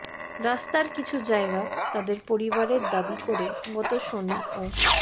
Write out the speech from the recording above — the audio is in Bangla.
রাস্তার কিছু জায়গা তাঁদের পরিবারের দাবি করে গত শনি ও